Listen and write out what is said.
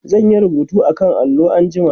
zan Yi rubutu akan allo anjima